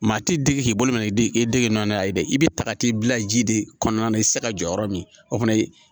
Maa ti dege k'i bolo minɛ e dege nana ye dɛ i bɛ ta ka t'i bila ji de kɔnɔna na i tɛ se ka jɔ yɔrɔ min o fana ye